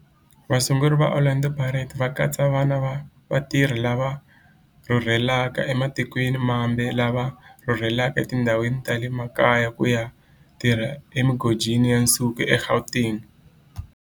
Vasunguri va Orlando Pirates va katsa vana va vatirhi lava rhurhelaka ematikweni mambe lava rhurheleke etindhawini ta le makaya ku ya tirha emigodini ya nsuku eGauteng.